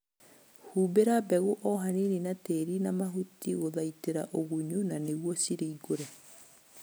Humbĩra mbegũ o hanini na tĩri na mahuti gũthaitĩra ũgunyu na nĩguo ciringũre